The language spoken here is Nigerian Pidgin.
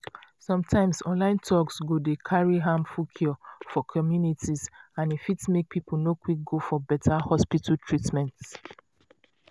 sometimes online talks go dey carry harmful cure for communities and e fit make people no quick go for beta hospital treatment.